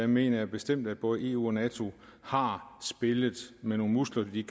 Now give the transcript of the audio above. mener jeg bestemt at både eu og nato har spillet med nogle muskler de